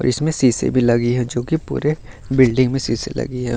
इसमें शीशे भी लगी है जो कि पूरे बिल्डिंग में शीशे लगी है।